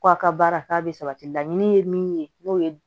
Ko a ka baara k'a bɛ sabati laɲini ye min ye n'o ye